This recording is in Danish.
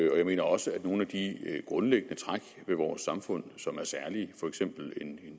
jeg mener også at nogle af de grundlæggende træk ved vores samfund som er særlige for eksempel en